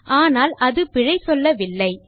ஆனால் அது பிழை சொல்லவில்லை